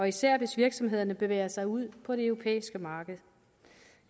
især hvis virksomhederne bevæger sig ud på det europæiske marked